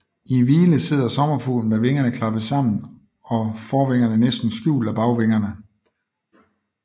I hvile sidder sommerfuglen med vingerne klappet sammen og forvingerne næsten skjult af bagvingerne